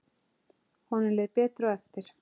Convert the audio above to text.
Honum leið betur á eftir.